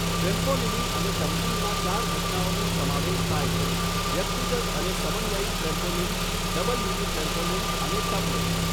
Trampolining અને ટમ્બલિંગમાં ચાર ઘટનાઓનો સમાવેશ થાય છે, વ્યક્તિગત અને સમન્વયિત ટ્રેમ્પોલિન, ડબલ મિની ટ્રેમ્પોલિન અને ટમ્બલિંગ.